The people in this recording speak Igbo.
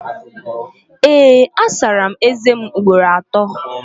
Ee, asara m ézēm ugboro atọ